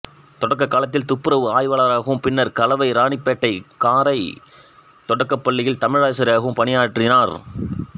தொடக்கக் காலத்தில் துப்புரவு ஆய்வாளராகவும் பின்னர் கலவை இராணிப்பேட்டை காரை தொடக்கப்பள்ளியில் தமிழாசிரியராகவும் பணியாறினார்